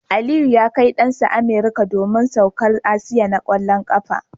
Aliyu ya Kai Dan sa American domin saukar atisayen na kwallon kafa